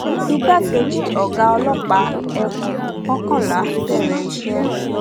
igbákejì ọgá ọlọpàá ekun kọkànlá bẹrẹ iṣẹ